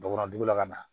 Bɔgɔ dugu la ka na